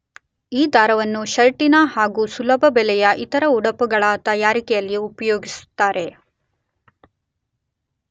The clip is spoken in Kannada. ಈ ದಾರವನ್ನು ಷರ್ಟಿನ ಹಾಗೂ ಸುಲಭ ಬೆಲೆಯ ಇತರ ಉಡುಪುಗಳ ತಯಾರಿಕೆಗೆ ಉಪಯೋಗಿಸುತ್ತಾರೆ.